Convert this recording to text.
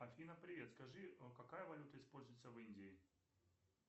афина привет скажи какая валюта используется в индии